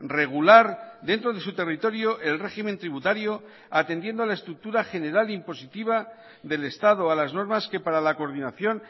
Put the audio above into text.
regular dentro de su territorio el régimen tributario atendiendo a la estructura general impositiva del estado a las normas que para la coordinación